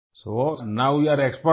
so now you are exporter